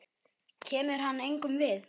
Kemur hann engum við?